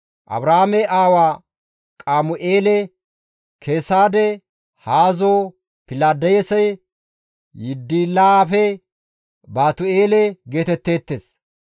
Aaraame aawa Qamu7eele, Keesade, Haazo, Pildaase, Yidilaafe, Baatu7eele geetetteettes.